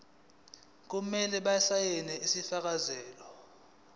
kumele basayine isifakazelo